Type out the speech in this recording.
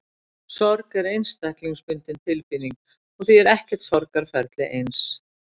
Sorg er einstaklingsbundin tilfinning og því er ekkert sorgarferli eins.